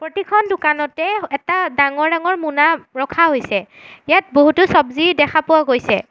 খন দোকানতে এটা ডাঙৰ ডাঙৰ মোনা ৰখা হৈছে ইয়াত বহুতো চব্জী দেখা পোৱা গৈছে।